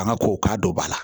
An ka ko k'a don ba la